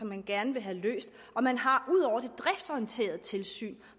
man gerne vil have løst man har det driftsorienterede tilsyn